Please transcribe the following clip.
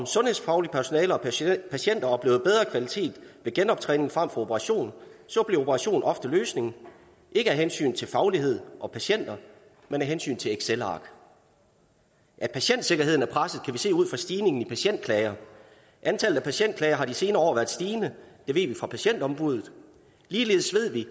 sundhedsfaglige personale og patienter oplever bedre kvalitet ved genoptræning frem for operation bliver operation ofte løsningen ikke af hensyn til faglighed og patienter men af hensyn til excelark at patientsikkerheden er presset kan vi se ud fra stigningen i patientklager antallet af patientklager har de senere år været stigende det ved vi fra patientombuddet ligeledes ved vi